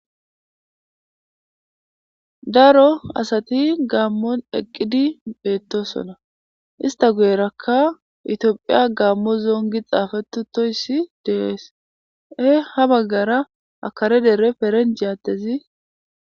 Daro Asati Gammon eqqidi bettosona,issta guyerakkaEthiopia Gammo zone gidi xaafetti betees,ha baggara kare Dere perenjjazi.